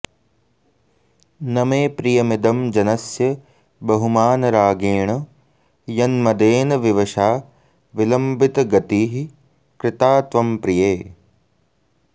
न मे प्रियमिदं जनस्य बहुमानरागेण य न्मदेन विवशा विलम्बितगतिः कृता त्वं प्रिये